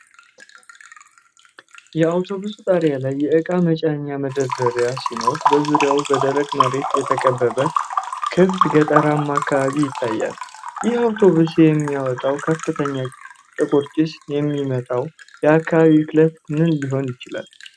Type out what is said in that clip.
። የአውቶቡሱ ጣሪያ ላይ የእቃ መጫኛ መደርደሪያ ሲኖር በዙሪያው በደረቅ መሬት የተከበበ ክፍት ገጠራማ አካባቢ ይታያል። ይህ አውቶቡስ ከሚያወጣው ከፍተኛ ጥቁር ጭስ የሚመጣው የአካባቢ ብክለት ምን ሊሆን ይችላል?